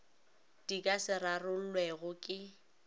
di ka se rarollwego ke